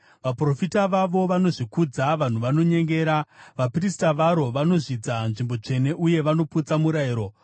Vaprofita vavo vanozvikudza; vanhu vanonyengera. Vaprista varo vanozvidza nzvimbo tsvene uye vanoputsa murayiro.